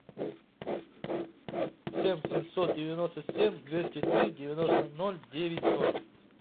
семь семьсот девяносто семь двести три девяносто ноль девять ноль